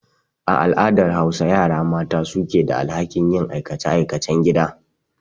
A al'adar Hausa, yara mata su ke da alhakin yin aikace-aikacen gida.